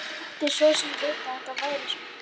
Hann mátti svo sem vita að þetta færi svona.